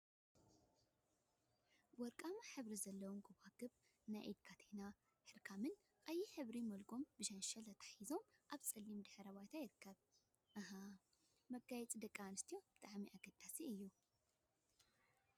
ወርቃማ ሕብሪ ዘለዎም ጎባጉብ፥ ናይ ኢድ ካቴና፥ ሕርክሞን ቀይሕ ሕብሪ መልጎምን ብሸንሸልን ተተሓሒዞም ኣብ ፀሊም ድሕረ ባይታ ይርክቡ። እህ! መጋየፂ ንደቂ ኣንስትዮ ብጣዕሚ ኣገዳሲ እዩ።